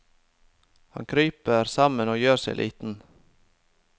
Han kryper sammen og gjør seg liten.